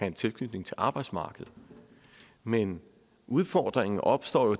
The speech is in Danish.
en tilknytning til arbejdsmarkedet men udfordringen opstår jo